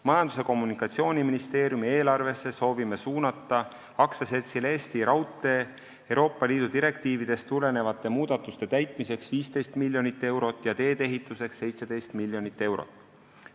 Majandus- ja Kommunikatsiooniministeeriumi eelarvesse soovime suunata AS-ile Eesti Raudtee Euroopa Liidu direktiividest tulenevate muudatuste täitmiseks 15 miljonit eurot ja teedeehituseks 17 miljonit eurot.